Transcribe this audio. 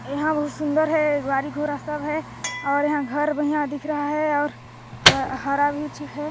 एहाँ बहुत सुंदर है गाड़ी-घोड़ा सब है और यहाँ घर भी यहाँ दिख रहा हैऔर ह हरा भी ठीक है।